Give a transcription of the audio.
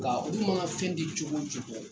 Nka olu mana fɛn di cogo cogo